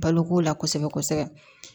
Baloko la kosɛbɛ kosɛbɛ